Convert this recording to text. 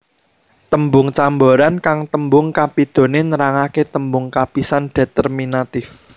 Tembung camboran kang tembung kapidhoné nerangaké tembung kapisan determinatif